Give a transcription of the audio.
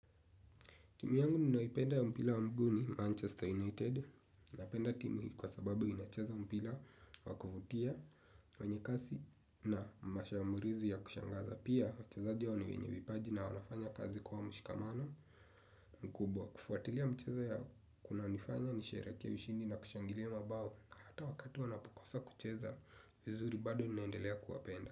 Timu yangu ninaipenda ya mpila wa mguu ni Manchester United. Napenda timu hii kwa sababu inacheza mpila wa kuvutia, wanyekasi na mashamburizi ya kushangaza. Pia, wachazadio ni wenye vipaji na wanafanya kazi kwa mshikamano mkubwa. Kufuatilia mchezo ya kunanifanya nisherekee ushindi na kushangilia mabao. Na hata wakati wanapokosa kucheza, vizuri bado ninaendelea kuwapenda.